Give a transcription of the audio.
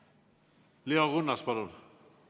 Leo Kunnas, palun!